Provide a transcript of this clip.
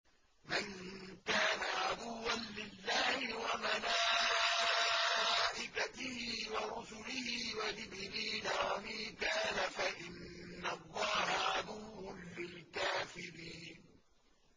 مَن كَانَ عَدُوًّا لِّلَّهِ وَمَلَائِكَتِهِ وَرُسُلِهِ وَجِبْرِيلَ وَمِيكَالَ فَإِنَّ اللَّهَ عَدُوٌّ لِّلْكَافِرِينَ